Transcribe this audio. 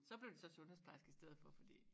Så blev det så sundhedsplejerske i stedet for fordi